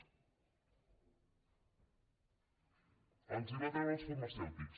els els va treure als farmacèutics